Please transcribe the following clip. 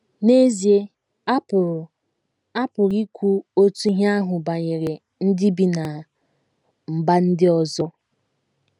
N’ezie, a pụrụ a pụrụ ikwu otu ihe ahụ banyere ndị bi ná mba ndị ọzọ.